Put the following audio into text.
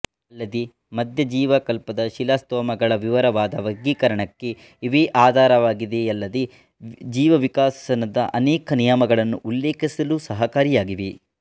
ಅಲ್ಲದೆ ಮಧ್ಯಜೀವಕಲ್ಪದ ಶಿಲಾಸ್ತೋಮಗಳ ವಿವರವಾದ ವರ್ಗೀಕರಣಕ್ಕೆ ಇವೇ ಆಧಾರವಾಗಿವೆಯಲ್ಲದೆ ಜೀವವಿಕಾಸದ ಅನೇಕ ನಿಯಮಗಳನ್ನು ಉಲ್ಲೇಖಿಸಲು ಸಹಕಾರಿಯಾಗಿವೆ